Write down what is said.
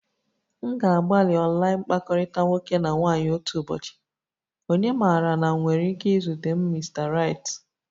M ga-agbalị online mkpakọrịta nwoke na nwaanyị otu ụbọchị, onye maara na m nwere ike izute m Mr nri